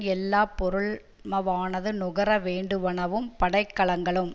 எல்லா பொருளமவானது நுகர வேண்டுவனவும் படைக்கலங்களும்